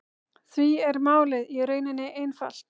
Því er málið í rauninni einfalt